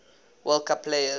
world cup players